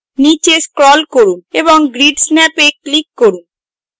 নীচে scroll করুন এবং grid snap এ click করুন